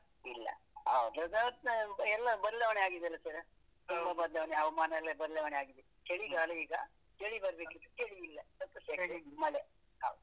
ಇಲ್ಲ ಎಲ್ಲ ಬದ್ಲಾವಣೆ ಆಗಿದೆ ಅಲ್ಲ sir ? ತುಂಬಾ ಬದ್ಲಾವಣೆ ಹವಾಮಾನ ಎಲ್ಲ ಬದ್ಲಾವಣೆ ಆಗಿದೆ. ಚಳಿಗಾಲ ಈಗ ಚಳಿ ಬರ್ಬೇಕಿತ್ತು ಚಳಿ ಇಲ್ಲ, ಸ್ವಲ್ಪ ಚಳಿ ಉಂಟು ಮಳೆ ಹೌದು.